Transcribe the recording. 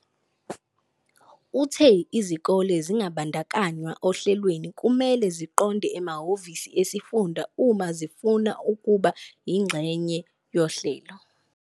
Uthe izikole ezingabandakanywanga ohlelweni kumele ziqonde emahhovisi esifunda uma zifuna ukuba yingxenye yohlelo.